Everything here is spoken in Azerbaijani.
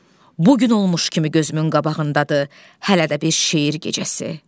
Bu gün olmuş kimi gözümün qabağındadır, hələ də bir şeir gecəsi.